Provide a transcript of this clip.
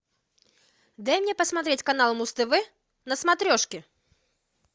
дай мне посмотреть канал муз тв на смотрешке